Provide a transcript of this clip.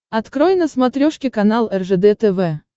открой на смотрешке канал ржд тв